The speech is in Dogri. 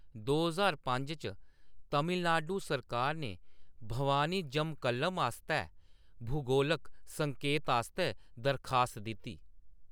दो ज्हार पंज च, तमिलनाडु सरकार ने भवानी जमक्कलम आस्तै भूगोलक संकेत आस्तै दरखास्त दित्ती।